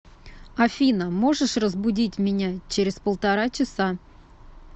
афина можешь разбудить меня через полтора часа